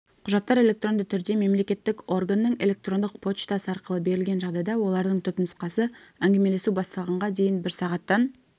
құжаттар электронды түрде мемлекеттік органның электрондық почтасы арқылы берілген жағдайда олардың түпнұсқасы әңгімелесу басталғанға дейін бір сағаттан